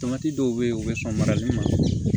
dɔw bɛ yen u bɛ sɔn marali ma